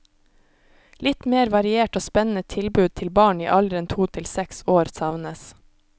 Litt mer variert og spennende tilbud til barn i alderen to til seks år savnes.